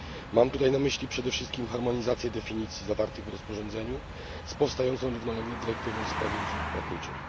Mam na myśli przede wszystkim harmonizację definicji zawartych w rozporządzeniu z powstającą równolegle dyrektywą w sprawie usług płatniczych.